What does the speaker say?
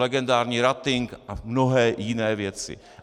Legendární "rating" a mnohé jiné věci.